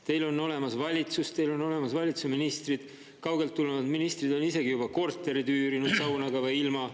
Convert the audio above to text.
Teil on olemas valitsus, teil on olemas valitsuse ministrid, kaugelt tulnud ministrid on isegi juba korterid üürinud, saunaga või ilma.